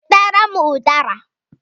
Wetara m udara!